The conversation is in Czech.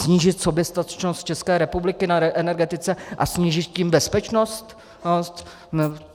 Snížit soběstačnost České republiky na energetice a snížit tím bezpečnost?